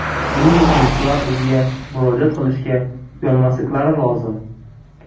Buning uchun ular bizga murojaat qilishga uyalmasliklari lozim.